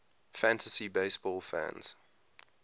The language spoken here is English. fantasy baseball fans